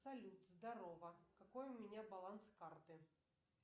салют здорово какой у меня баланс карты